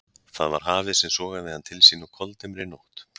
Það var hafið sem sogaði hann til sín á koldimmri nótt.